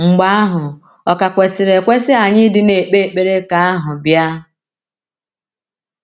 Mgbe ahụ, ọ̀ ka kwesịrị ekwesị anyị ịdị na - ekpe ekpere ka ahụ bịa?